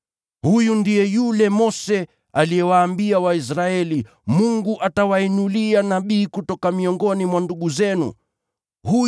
“Huyu ndiye yule Mose aliyewaambia Waisraeli, ‘Mungu atawainulia nabii kama mimi kutoka miongoni mwa ndugu zenu wenyewe.’